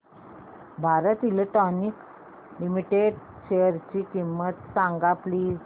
Bharat Electronics Limited शेअरची किंमत सांगा प्लीज